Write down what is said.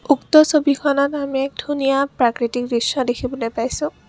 উক্ত ছবিখনত আমি এক ধুনীয়া প্ৰাকৃতিক দৃশ্য দেখিবলৈ পাইছোঁ।